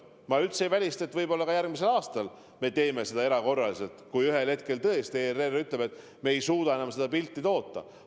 Ma üldse ei välista, et võib-olla ka järgmisel aastal me teeme seda erakorraliselt, kui ühel hetkel ERR teatab, et ta ei suuda enam seda pilti toota.